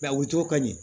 a wotoro ka ɲi